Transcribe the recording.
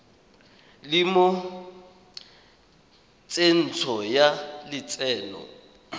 le mo tsentsho ya lotseno